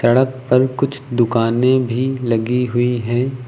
सड़क पर कुछ दुकानें भी लगी हुई है।